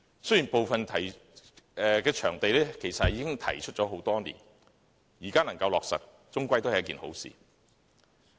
雖然部分場地的要求其實已提出多年，現在能夠落實，總算是好事。